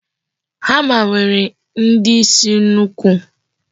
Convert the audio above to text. Hama nwere ndi isi nnukwu.